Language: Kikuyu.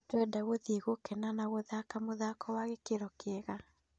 Tũrenda gũthiĩ gũkena na gũthake mũthako wa gĩkĩro kĩega."